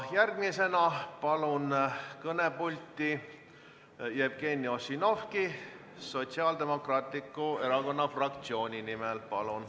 Järgmisena palun kõnepulti Jevgeni Ossinovski Sotsiaaldemokraatliku Erakonna fraktsiooni nimel kõnelema.